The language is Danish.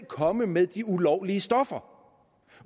komme med de ulovlige stoffer